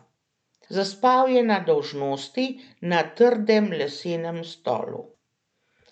Zaspal je na dolžnosti, na trdem lesenem stolu.